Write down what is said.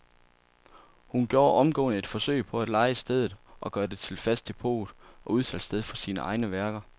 Han gjorde omgående et forsøg på at leje stedet og gøre det til fast depot og udsalgssted for sine egne værker.